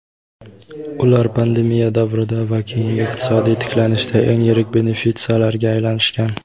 ular pandemiya davrida va keyingi iqtisodiy tiklanishda eng yirik benefitsiarlarga aylanishgan.